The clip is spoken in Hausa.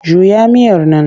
Juya miyar nan!